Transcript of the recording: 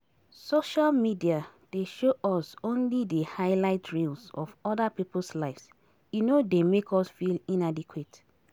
Social media dey show us only di highlight reels of oda people's lives, e no dey make us feel inadequate.